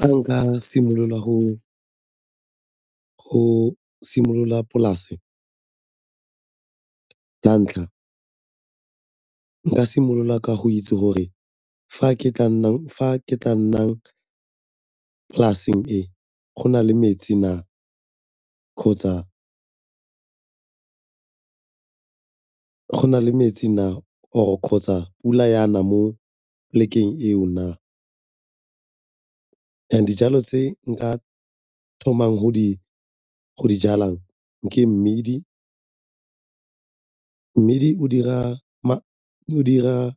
Fa nka simolola go simolola polase la ntlha, nka simolola ka go itse gore fa ke tla nnang polasing e go na le metsi na kgotsa pula e a na mo polekeng eo na. And dijalo tse nka thomang go di jalang ke mmidi, mmidi o dira